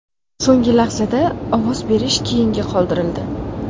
So‘nggi lahzada ovoz berish keyinga qoldirildi.